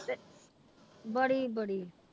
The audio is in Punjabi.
ਬੜੀ ਬੜੀ ਤੇ